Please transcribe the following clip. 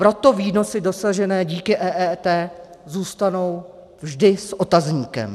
Proto výnosy dosažené díky EET zůstanou vždy s otazníkem.